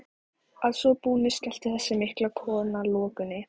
Að svo búnu skellti þessi mikla kona lokunni.